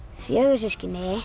fjögur systkini